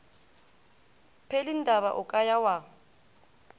pelindaba o ka ya wa